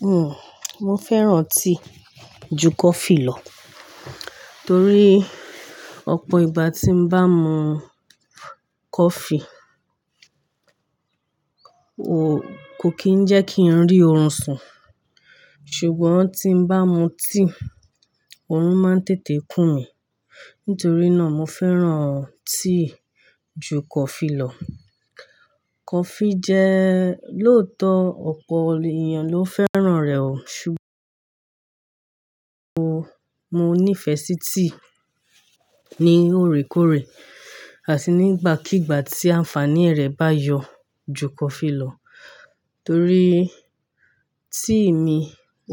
Hmm, mo fẹ́ràn tea ju coffee lọ, torí ọ̀pọ̀ ìgbà tí n bá mu coffee, kò kí ń jẹ́ kí n rí orun sùn. Ṣùgbọ́n tí n bá mu tea, orun máa ń tètè n kùn mí. Nítorí náà mo fẹ́ràn tea ju coffee lọ. Coffee jẹ́ lóòótọ́ ọ̀pọ̀ ènìyàn ló fẹ́ràn rẹ̀ o, ṣùgbọ́n mo ní ìfẹ́ sí tea ní òrékórè àti nígbàkígbà tí ànfàní rẹ̀ bá yọ ju coffee lọ. Torí tea mi,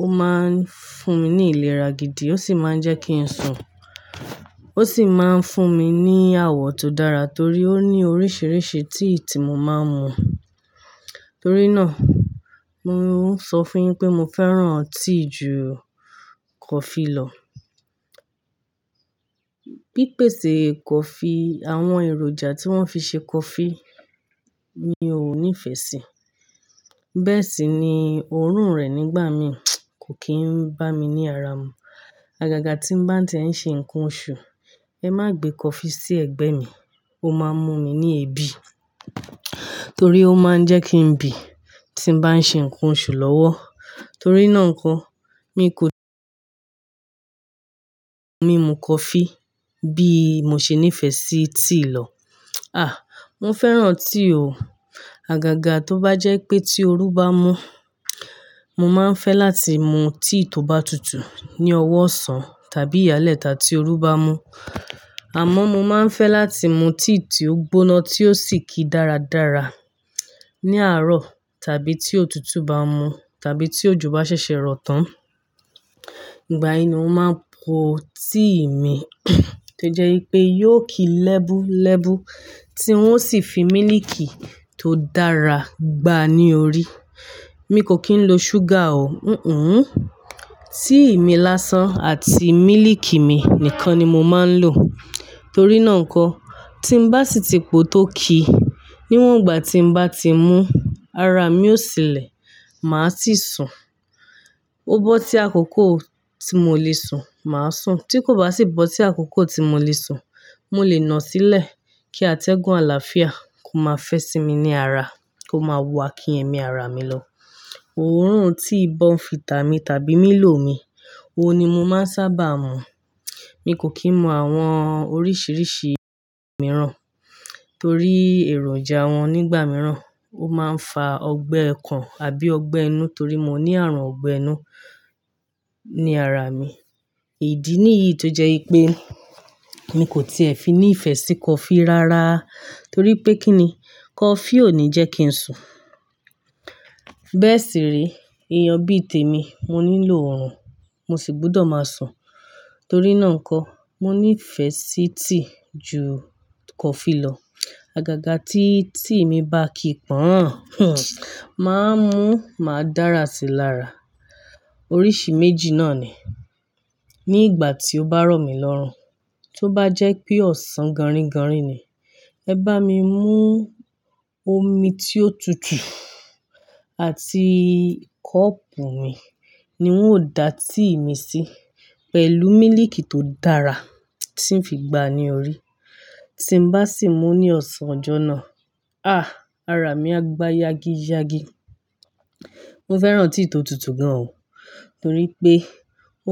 ó máa ń fún mi ní ìlera gidi, ó sì máa ń jẹ́ kí n sùn. Ó sì máa ń fún mi ní àwọ̀ tó dára torí ó ní oríṣiríṣi tíì tí mo máa ń mu. Torí náà, mo ń sọ fún yín pé mo fẹ́ràn tíì ju coffee lọ. Pípèsè coffee, àwọn èròjà tí wọ́n fi ṣe coffee mi ò ní ìfẹ́ sí. Bẹ́ẹ̀ sì ni oorun rẹ̀ nígbà mí kò kí ń bá mi ní ara mu. Àgàgà tí n bá ń ti ẹ̀ ń ṣe nǹkan oṣù, ẹ má gbé coffee sí ẹ̀gbẹ́ mi, ó máa ń mú mi ní ebi torí ó máa ń jẹ́ kí n bì tí n bá ń ṣe nǹkan oṣù lọ́wọ́. Torí náà nkan, mi kò ti-- mi mu coffee bí mo ṣe ní ìfẹ́ sí tea lọ. À, mo fẹ́ràn tea o. Àgàgà tó bá jẹ́ pé tí òru bá mú, mo máa ń fẹ́ láti mu tea tó bá tutù ní ọwọ́ ọ̀sán tàbí ìyálẹ́ta tí òru bá mú. Àmọ́ mo máa ń fẹ́ láti mu tea tí ó gbóná tí ó sì ki dáradára ní àárọ̀ tàbí tí òtútù bá mú tàbí tí òjò bá ṣẹ̀ṣẹ̀ rọ̀ tán. Ìgbà yìí ni mo máa po tea mi tó jẹ́ wipé yóò ki lẹ́bú lẹ́bú tí wọ́n sì fi mílíkì tó dára gbá a ní orí. Mi kò kí ń lo ṣúgà o, n-n-n. Tea mi lásán àti mílíkì mi nìkan ni mo máa ń lò. Torí náà kọ, tí n bá sì ti po tó ki, níwọ̀n ìgbà tí n bá ti mú, ara mi ó sìnle, màá sì sùn. Ó bọ́ sí àkókò tí mo lè sùn, màá sùn. Tí kò bá sì bọ́ tí àkókò tí mo lè sùn, mo lè nà á sílẹ̀ kí atẹ́gùn àlàáfíà kó má fẹ́ sí mi ní ara, kó má wo akínyẹ̀mí ara mi lọ. Oorun tea bournvita mi tàbí mílò mi, òun ni mo máa ń sábà mu. Mi kò kí ń mu àwọn oríṣiríṣi mìíràn torí èròjà wọn nígbà mìíràn ó máa ń fa ọgbẹ́ okàn àbí ọgbẹ́ inú torí mo ní ààrùn ọgbẹ́ inú ní ara mi. Hmm, mo fẹ́ràn tea ju coffee lọ torí ọ̀pọ̀ ìgbà tí n bá mu coffee, ko kí ń jẹ́ kí n rí orun sùn. Bẹ́ẹ̀ sì re, ènìyàn bí i tèmi mo nílò oorun, mo sì gbúdọ̀ máa sùn. Torí náà kọ, mo ní ìfẹ́ sí tíì ju coffee lọ. Àgàgà tí tea mi bá ki pọ̀n, hmm, màá mú, màá dára sí i lára. Oríṣi méjì náà ni. Ní ìgbà tí ó bá rọ̀ mi lọ́run, tí ó bá jẹ́ pé ọ̀sán gọ̀rìngọ̀rìn ni, ẹ bá mi mú omi tí ó tutù àti kọ́ọ̀pù mi ni hun ó dá tea mi sí pẹ̀lú mílíkì tó dára tí ń fi gbá a ní orí. Tí n bá sì mú ní ọ̀sán ọjọ́ náà, à, ara mi á gbá yágíyágí. Mo fẹ́ràn tea tó tutù gan o torí pé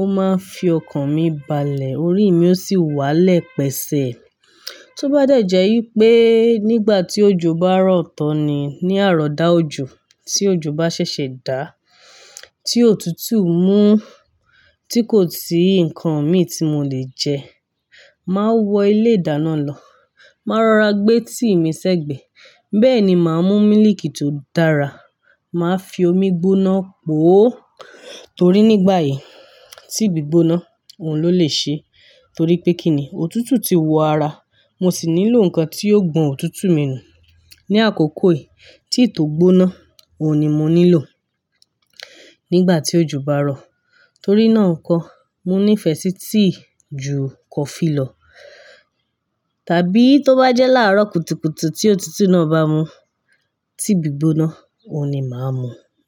ó máa ń fi ọkàn mi balẹ̀, orí mi ó sì wálẹ̀ pẹ̀sẹ̀. Tí ó bá dẹ̀ jẹ́ wípé nígbà tí òjò bá rọ̀ tán ni, ní àárọ̀ dá ojú tí òjò bá ṣẹ̀ṣẹ̀ dá, tí òtútù mú tí kò sí nǹkan mi tí mo lè jẹ́, màá wọ ilé ìdáná lọ, màá rọra gbé tea mi sẹ́gbẹ̀ẹ́. Bẹ́ẹ̀ ni màá mú mílíkì tó dára, màá fi omi gbóná po o torí nígbà yìí, tea gbígbóná òun ló lè ṣe torí pé kí ni, òtútù ti wo ara, mo sì nílò nǹkan tí yóò gbọn òtútù mi nù. Ní àkókò yìí, tíì tó gbóná òun ni mo nílò nígbà tí òjò bá rọ̀. Torí náà kọ, mo ní ìfẹ́ sí tíì ju coffee lọ. Tàbí tó bá jẹ́ láàárọ̀ kùtùkùtù tí òtútù náà bá mú, tea gbígbóná òun ni màá mu.